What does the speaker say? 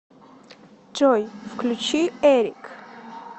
джой включи эрик